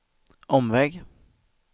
omväg